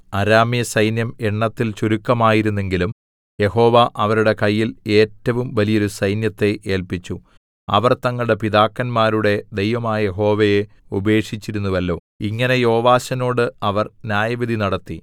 അരാമ്യസൈന്യം എണ്ണത്തിൽ ചുരുക്കമായിരുന്നെങ്കിലും യഹോവ അവരുടെ കയ്യിൽ ഏറ്റവും വലിയോരു സൈന്യത്തെ ഏല്പിച്ചു അവർ തങ്ങളുടെ പിതാക്കന്മാരുടെ ദൈവമായ യഹോവയെ ഉപേക്ഷിച്ചിരുന്നുവല്ലോ ഇങ്ങനെ യോവാശിനോട് അവർ ന്യായവിധി നടത്തി